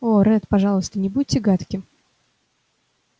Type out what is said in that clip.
о ретт пожалуйста не будьте гадким